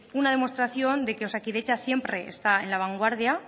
una demostración de que osakidetza siempre está en la vanguardia